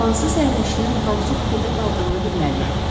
Hansı sərnişinin hansı kupedə qaldığını bilməliyəm.